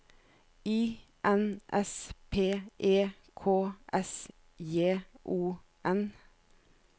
I N S P E K S J O N